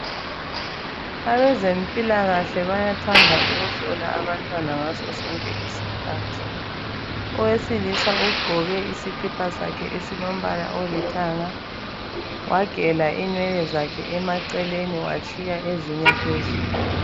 Abezempilakahle bayathanda ukuhlola abantwana ngaso sonke isikhathi. Owesilisa ugqoke isikipa sakhe esilombala olithanga wagela inwele zakhe emaceleni watshiya ezinye phezulu.